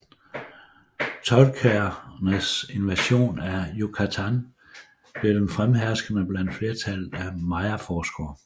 Toltekernes invasion af Yucatán blev den fremherskende blandt flertallet af mayaforskere